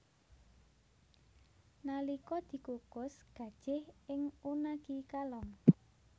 Nalika dikukus gajih ing unagi kalong